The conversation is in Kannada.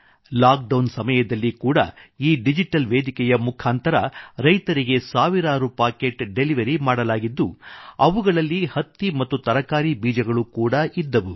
ಲಾಕ್ಡೌನ್ ಸಮಯದಲ್ಲಿ ಕೂಡಾ ಈ ಡಿಜಿಟಲ್ ವೇದಿಕೆಯ ಮುಖಾಂತರ ರೈತರಿಗೆ ಸಾವಿರಾರು ಪಾಕೆಟ್ ಡೆಲಿವರಿ ಮಾಡಲಾಗಿದ್ದು ಅವುಗಳಲ್ಲಿ ಹತ್ತಿ ಮತ್ತು ತರಕಾರಿಗಳ ಬೀಜಗಳು ಕೂಡಾ ಇದ್ದವು